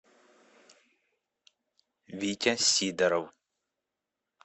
витя сидоров